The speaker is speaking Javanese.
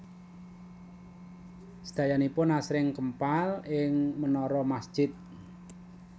Sedayanipun asring kempal ing menara masjid